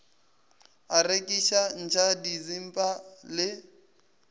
a rekiša atšha disimba le